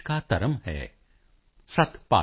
करम बंधन में बन्ध रहियो फल की ना तज्जियो आस